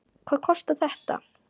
Hvað kostar þetta?